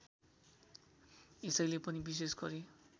यसैले पनि विशेष गरी